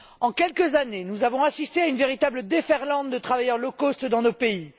En quelques années, nous avons assisté à une véritable déferlante de travailleurs low cost dans nos pays.